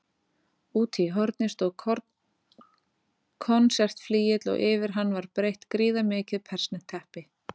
Úti í horni stóð konsertflygill og yfir hann var breitt gríðarmikið persneskt teppi.